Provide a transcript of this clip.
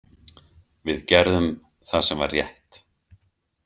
Við gerðum það sem var rétt.